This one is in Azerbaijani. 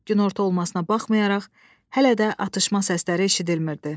Günorta olmasına baxmayaraq hələ də atışma səsləri eşidilmirdi.